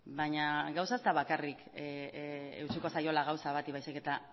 baina gauza ez da bakarrik eutsiko zaiola gauza bati baizik eta